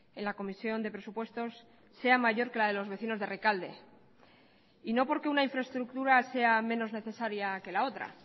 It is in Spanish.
en la comisión de presupuestos sea mayor que la de los vecinos de rekalde y no porque una infraestructura sea menos necesaria que la otra